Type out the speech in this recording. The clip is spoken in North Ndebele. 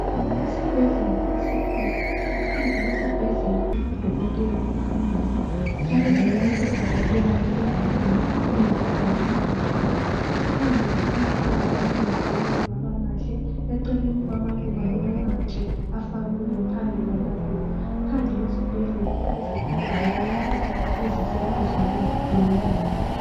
Isibhedlela esikhulu phandle kwesibhedlela Kulodokotela ohambayo njalo duzane laye kulomntwana oyinkazana ohambahambayo. Phandle kulamaluba alungisiweyo aba mahle eceleni kwamaluba kulamatshe afakiweyo phambili. Phandle kwesibhedlela kulezitulo zokuhlala eziseduzane lomnyango.